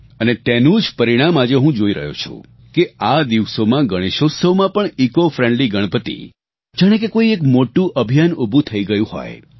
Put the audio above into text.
અને તેનું જ પરિણામ આજે હું જોઈ રહ્યો છું કે આ દિવસોમાં ગણેશોત્સવમાં પણ ઇસીઓ ફ્રેન્ડલી ગણપતિ જાણે કે કોઈ એક મોટું અભિયાન ઉભું થયું ગયું હોય